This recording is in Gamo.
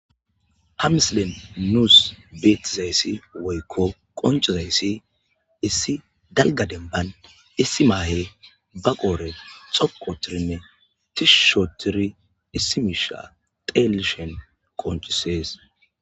ha misiley nuus beettizayssi woykko qoncizayssi issi dalga denban issi maahe ba qoore xoqotirinne tishushootiri issi miisha teelishen qoncisees